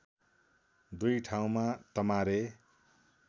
दुई ठाउँमा तमारे